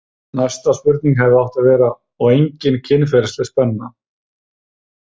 Næsta spurning hefði átt að vera: og engin kynferðisleg spenna?